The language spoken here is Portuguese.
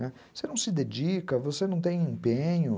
Né, você não se dedica, você não tem empenho.